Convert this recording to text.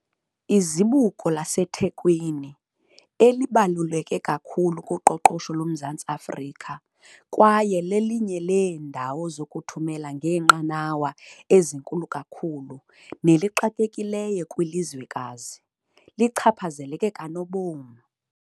Izibuko laseThekwini, elibaluleke kakhulu kuqoqosho loMzantsi Afrika kwaye lelinye leendawo zokuthumela ngeenqanawa ezinkulu kakhulu nelixakekileyo kwilizwekazi, lichaphazeleke kanobom.